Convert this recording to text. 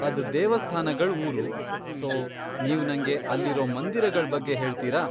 ಅದ್ ದೇವಸ್ಥಾನಗಳ್ ಊರು, ಸೋ ನೀವ್ ನಂಗೆ ಅಲ್ಲಿರೋ ಮಂದಿರಗಳ್ ಬಗ್ಗೆ ಹೇಳ್ತೀರಾ?